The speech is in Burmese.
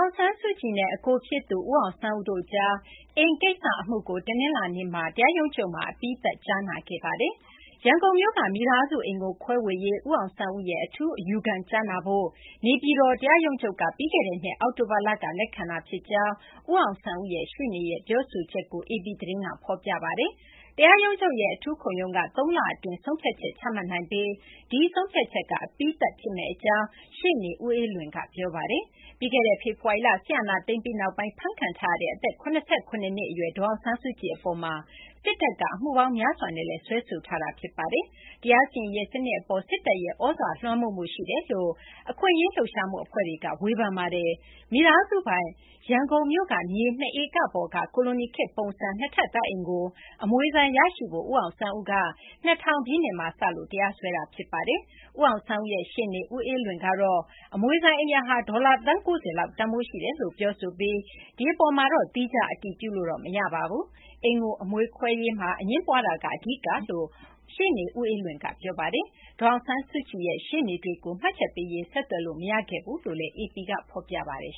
င်ဆန်းစုကြည်နဲ့ အကိုဖြစ်သူ ဦးအောင်ဆန်းဦးတို့ကြား အိမ်ကိစ္စ အမှုကို တနလာၤနေ့မှာ တရားရုံးချုပ်မှာ အပြီးသတ် ကြားနာခဲ့ပါတယ်။ ရန်ကုန်မြို့က မိသားစု အိမ်ကို ခွဲဝေရေး ဦးအောင်ဆန်းဦးရဲ့ အထူး အယူခံကို ကြားနာဖို့ နေပြည်တော် တရားရုံးချုပ်က ပြီးခဲ့တဲ့နှစ် အောက်တိုဘာလက လက်ခံခဲ့တာ ဖြစ်ကြောင်း ဦးအောင်ဆန်းဦးရဲ့ ရှေ့နေက ပြောဆိုကြောင်း AP သတင်းက ဖော်ပြပါတယ်။ တရားရုံးချုပ်ရဲ့ အထူးခုံရုံးက သုံးလ အတွင်းဆုံးဖြတ်ချက် ချမှတ်နိုင်ပြီး ဒီဆုံးဖြတ်ချက်က အပြီးသတ် ဖြစ်မယ့် အကြောင်း ရှေ့နေ ဦးအေးလွင်က ပြောပါတယ်။ ပြီးခဲ့တဲ့ ဖေဖော်ဝါရီလ စစ်အာဏာသိမ်းပြီးနောက်ပိုင်း ဖမ်းဆီးခံထားရတဲ့ အသက် ၇၇ နှစ် အရွယ် ဒေါ်အောင်ဆန်းစုကြည် အပေါ်မှာ စစ်တပ်က အမှုပေါင်း များစွာနဲ့ စွဲဆိုထားတာလည်း ဖြစ်ပါတယ်။ တရားစီရင်ရေး စနစ် အပေါ် စစ်တပ်ရဲ့ သြဇာ လွှမ်းမိုးမှု ရှိတယ်လို့ အခွင့်အရေး လှုပ်ရှားမှု အဖွဲ့တွေကတော့ ဝေဖန်ကြပါတယ်။ မိသားစုပိုင် ရန်ကုန်မြို့က မြေ ၂ ဧက ပေါ်က ကိုလိုနီခေတ် ပုံစံ နှစ်ထပ် တိုက်အိမ်ကို အမွေဆိုင် ရရှိရေး အတွက် ဦးအောင်ဆန်းဦးက ၂၀၀၀ ပြည့်နှစ်မှာ စလို့ တရားစွဲခဲ့တာ ဖြစ်ပါတယ်။ ဦးအောင်ဆန်းဦးရဲ့ ရှေ့နေ ဦးအေးလွင်ကတော့ အမွေဆိုင် အိမ်ယာဟာ ဒေါ်လာ သန်း ၉၀ လောက် တန်းဖိုးရှိတယ်လို့ ပြောဆိုပြီး ဒီအပေါ်မှာတော့ သီးခြား အတည်ပြုလို့တော့ မရပါဘူး။ အိမ်ကို အမွေခွဲရေးမှာ အငြင်းပွားတာက အဓိက ဖြစ်တယ်လို့ ရှေ့နေ ဦးအေးလွင်က ပြောပါတယ်။ ဒေါ်အောင်ဆန်းစုကြည်ရဲ့ ရှေ့နေတွေကိုတော့ မှတ်ချက်ပေးရေး ဆက်သွယ်လို့ မရခဲ့ဘူးလို့လည်း AP က ဖော်ပြထားပါတယ်